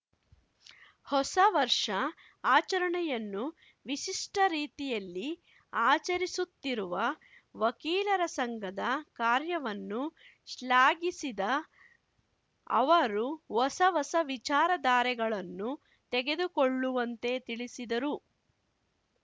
ಹೊಸ ವರ್ಷ ಆಚರಣೆಯನ್ನು ವಿಶಿಷ್ಟರೀತಿಯಲ್ಲಿ ಆಚರಿಸುತ್ತಿರುವ ವಕೀಲರ ಸಂಘದ ಕಾರ್ಯವನ್ನು ಶ್ಲಾಘಿಸಿದ ಅವರು ಹೊಸ ಹೊಸ ವಿಚಾರ ಧಾರೆಗಳನ್ನು ತೆಗೆದುಕೊಳ್ಳುವಂತೆ ತಿಳಿಸಿದರು